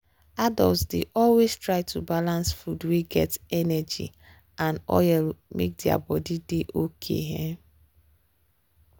adults dey always try to balance food wey get energy and oil make their body dey okay. um